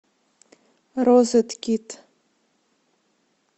розеткид